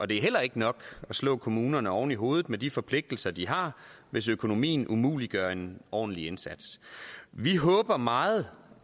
det er heller ikke nok at slå kommunerne oven i hovedet med de forpligtelser de har hvis økonomien umuliggør en ordentlig indsats vi håber meget